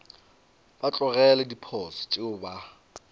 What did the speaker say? ba tlogele diposo tšeo ba